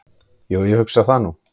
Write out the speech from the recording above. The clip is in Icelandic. """Jú, ég hugsa það nú."""